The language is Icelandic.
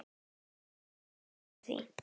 Ég get ekki neitað því.